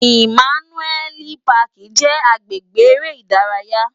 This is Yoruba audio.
Imànúèli páki jè agbégbé èrè idàráyá